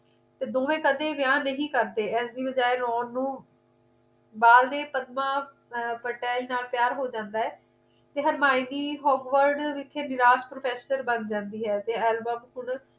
ਤੇ ਦੋਵੇਂ ਵਿਆਹ ਨਹੀਂ ਕਰਦੇ ਇਸ ਦੀ ਬਜਾਏ roman ਨੂੰ ਅਰ ਪਟਾਈ ਨਾਲ ਪਿਆਰ ਹੋ ਜਾਂਦਾ ਹੈ ਤੇ harymuni howard ਵਿਖੇ ਨਿਰਾਸ਼ professor ਬਣ ਜਾਂਦੀ ਹੈ ਤੇ album ਹੁਣ